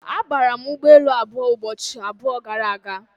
Abara m ụgbọelu abụọ ụbọchị abụọ gara aga.